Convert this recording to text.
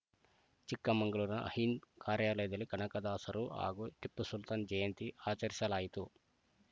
ಚಿಕ್ಕಮಗಳೂರಿನ ಹಿಂದ ಕಾರ್ಯಾಲಯದಲ್ಲಿ ಕನಕದಾಸರು ಹಾಗೂ ಟಿಪ್ಪುಸುಲ್ತಾನ್‌ ಜಯಂತಿ ಆಚರಿಸಲಾಯಿತು